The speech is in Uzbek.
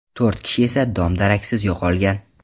To‘rt kishi esa dom-daraksiz yo‘qolgan.